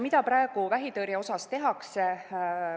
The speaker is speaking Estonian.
Mida praegu vähitõrje puhul tehakse?